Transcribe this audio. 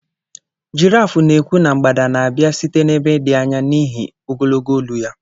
girraaf na-ekwu na mgbada na-abịa site n'ebe dị anya n'ihi ogologo olu ya.